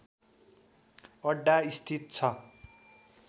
अड्डा स्थित छ।